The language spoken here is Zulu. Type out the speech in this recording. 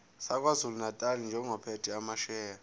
sakwazulunatali njengophethe amasheya